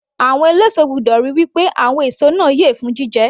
Àwọn eléso gbọ́dọ̀ ríi wí pé àwọn èso náà yẹ fún jíjẹ